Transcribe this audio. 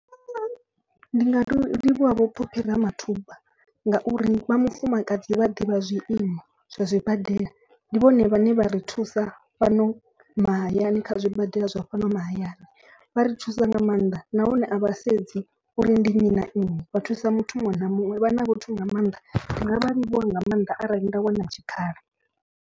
Ndi nga to livhuwa vho Phophi Ramathuba ngauri vha mufumakadzi vha ḓivha zwiimo zwa zwibadela. Ndi vhone vhane vha ri thusa fhano mahayani kha zwi badela zwa fhano mahayani. Vha ri thusa nga maanḓa nahone a vha sedzi uri ndi nnyi na nnyi vha thusa muthu muṅwe na muṅwe. Vha na vhathu nga maanḓa ndi nga vha livhuwa nga maanḓa arali nda wana tshikhala.